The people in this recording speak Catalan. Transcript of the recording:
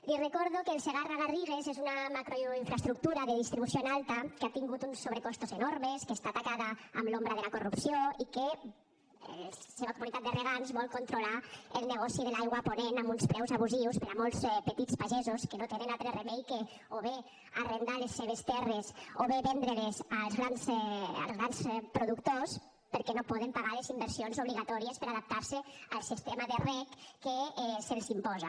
li recordo que el segarra garrigues és una macroinfraestructura de distribució en alta que ha tingut uns sobrecostos enormes que està tacada amb l’ombra de la corrupció i que la seva comunitat de regants vol controlar el negoci de l’aigua a ponent amb uns preus abusius per a molts petits pagesos que no tenen altre remei que o bé arrendar les seves terres o bé vendre les als grans productors perquè no poden pagar les inversions obligatòries per adaptar se al sistema de reg que se’ls imposa